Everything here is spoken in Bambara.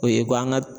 O ye ko an ka